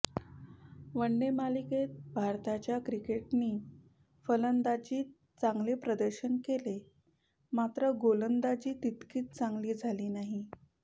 one day मालिकेत भारताच्या क्रिकेटरनी फलंदाजीत चांगले प्रदर्शन केले मात्र गोलंदाजी तितकीशी चांगली झाली नाही